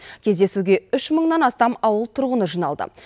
кездесуге үш мыңнан астам ауыл тұрғыны жиналды